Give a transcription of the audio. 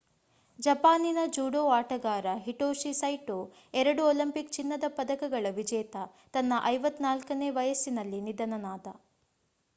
ಜಪಾನಿನ ಜೂಡೋ ಆಟಗಾರ Hitoshi Saito ಎರಡು ಒಲಿಂಪಿಕ್ ಚಿನ್ನದ ಪದಕಗಳ ವಿಜೇತ ತನ್ನ 54ನೇ ವಯಸ್ಸಿನಲ್ಲಿ ನಿಧನನಾದ